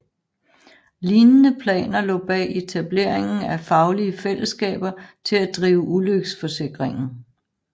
Lignende planer lå bag etableringen af faglige fællesskaber til at drive ulykkesforsikringen